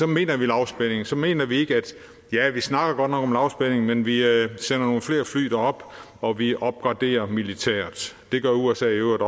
mener vi lavspænding så mener vi ikke ja vi snakker godt nok om lavspænding men vi sender nogle flere fly derop og vi opgraderer militært det gør usa i øvrigt